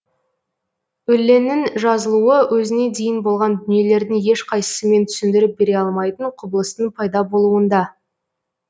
өлеңнің жазылуы өзіне дейін болған дүниелердің ешқайсысымен түсіндіріп бере алмайтын құбылыстың пайда болуында